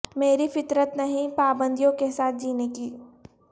میری فطرت نہیں پا بندیوں کے ساتھ جینے کی